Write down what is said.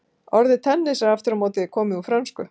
orðið tennis er aftur á móti komið úr frönsku